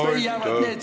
Aitäh!